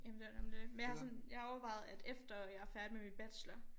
Jamen det jo nemlig det men jeg har sådan jeg har overvejet at efter jeg færdig med min bachelor